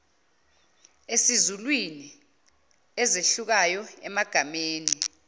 esizulwini ezehlukayo emagameni